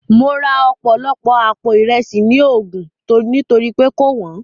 Mo ra ọ̀pọ̀lọpọ̀ àpò Ìresì ní Ogun nítorí pé kò wọ́n